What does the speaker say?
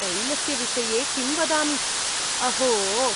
तैलस्य विषये किं वदामि, अहो।